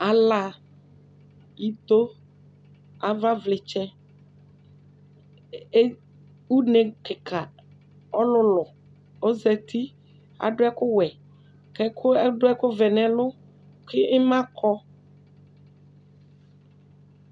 Ala, ito, avavlɩtsɛ, e une kɩka, ɔlʋlʋ ɔzati, adʋ ɛkʋwɛ kʋ ɛkʋ adʋ ɛkʋvɛ nʋ ɛlʋ kʋ ɩma kɔ